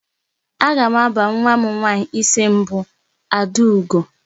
Aga m aba nwa m nwaanyị isi mbụ Adaugo.